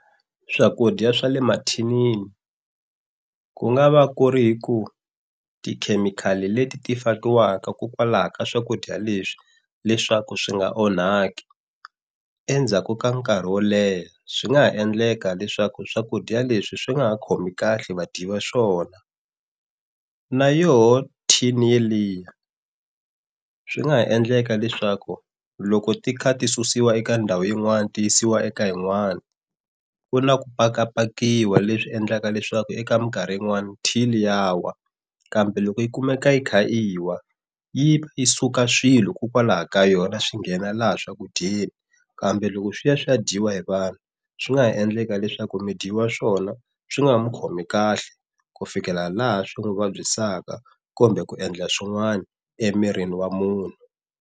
Swakudya swa le mathinini ku nga va ku ri ku tikhemikhali leti ti fakiwanga kokwalaho ka swakudya leswi leswaku swi nga onhaki endzhaku ka nkarhi wo leha swi nga ha endleka leswaku swakudya leswi swi nga ha khomi kahle va dyi va swona, na yoho tin yeliya swi nga ha endleka leswaku loko ti kha ti susiwa eka ndhawu yin'wana tiyisiwa eka yin'wani ku na ku pakapakiwa leswi endlaka leswaku eka minkarhi yin'wani tin ya wa kambe loko yi kumeka yi kha yi wa, yi yi suka swilo kokwalaho ka yona swi nghena laha swakudyeni kambe loko swi ya swi ya dyiwa hi vanhu swi nga ha endleka leswaku mi dyi wa swona swi nga ha mu khomi kahle ku fikela laha swi n'wi vabyisaka kumbe ku endla swin'wana emirini wa munhu.